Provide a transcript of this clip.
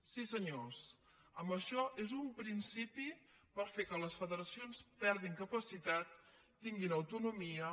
sí senyors això és un principi per fer que les federacions perdin capacitat tinguin autonomia